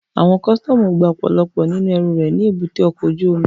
Àwọn kọ́sítọ́mù gba ọ̀pọ̀lọpọ̀ nínú ẹrù rẹ̀ ní èbúté ọkọ̀ ojú omi